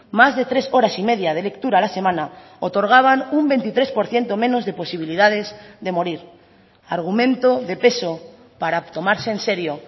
más de tres horas y media de lectura a la semana otorgaban un veintitrés por ciento menos de posibilidades de morir argumento de peso para tomarse en serio